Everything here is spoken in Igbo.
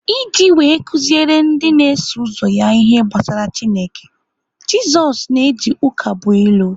Iji wee kuziere ndị na-eso ụzọ ya ihe gbasara Chineke, Jisoz na-eji ụkabụilu.